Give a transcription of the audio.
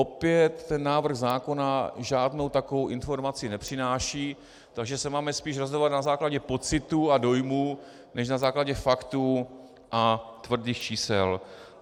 Opět, ten návrh zákona žádnou takovou informaci nepřináší, takže se máme spíš rozhodovat na základě pocitů a dojmů než na základě faktů a tvrdých čísel.